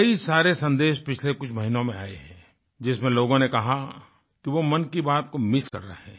कई सारे सन्देश पिछले कुछ महीनों में आये हैं जिसमें लोगों ने कहा कि वो मन की बात को मिस कर रहे हैं